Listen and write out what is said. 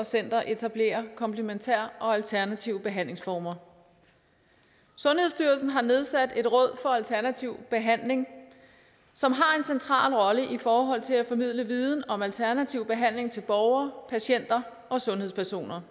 og centre etablerer komplementære og alternative behandlingsformer sundhedsstyrelsen har nedsat et råd for alternativ behandling som har en central rolle i forhold til at formidle viden om alternativ behandling til borgere patienter og sundhedspersoner